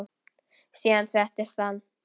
Síðan settist hann.